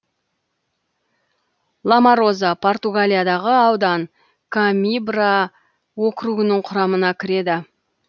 ламароза португалиядағы аудан комимбра округінің құрамына кіреді